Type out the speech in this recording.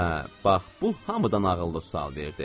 Hə, bax bu hamıdan ağıllı sual verdi.